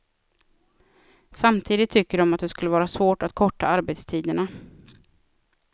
Samtidigt tycker de att det skulle vara svårt att korta arbetstiderna.